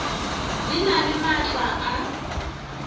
di na le maatla a